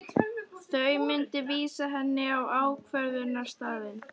Þau myndu vísa henni á ákvörðunarstaðinn.